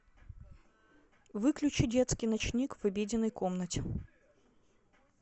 выключи детский ночник в обеденной комнате